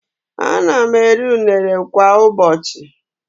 Ana m eri unere kwa ụbọchị.